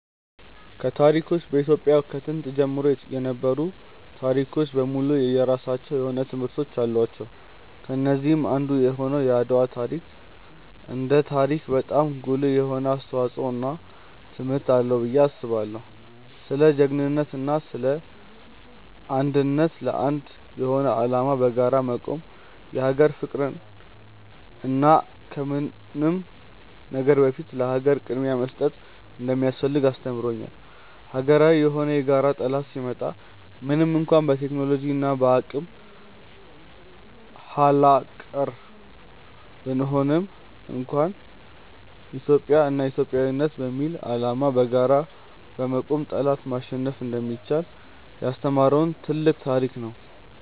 ከታሪኮች በኢትዮጵያ ከጥንት ጀምሮ የነበሩ ታሪኮች በሙሉ የየራሳቸው የሆነ ትምህርቶች አላቸው። ከነዚህም አንዱ የሆነው የአድዋ ታሪክ እንደ ታሪክ በጣም ጉልህ የሆነ አስተዋጽዖ እና ትምህርት አለው ብዬ አስባለው። ስለ ጅግንነት እና ስለ አንድነት፣ ለአንድ የሆነ አላማ በጋራ መቆም፣ የሀገር ፍቅር እና ከምንም ነገር በፊት ለሀገር ቅድምያ መስጠት እንደሚያስፈልግ አስተምሮናል። ሀገራዊ የሆነ የጋራ ጠላት ሲመጣ ምንም እንኳን በቴክኖሎጂ እና በአቅም ኃላቀር ብንሆንም እንኳን ኢትዮጵያ እና ኢትዮጵያዊነት ለሚል አላማ በጋራ በመቆም ጠላትን ማሸነፍ እንደሚቻል ያስተማሪን ትልቅ ታሪክ ነው።